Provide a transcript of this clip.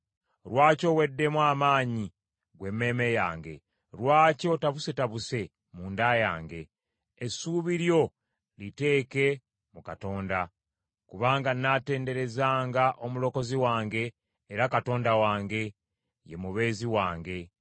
Lwaki oweddemu amaanyi ggwe emmeeme yange? Lwaki otabusetabuse mu nda yange? Essuubi lyo liteeke mu Katonda, kubanga natenderezanga omulokozi wange era Katonda wange; ye mubeezi wange.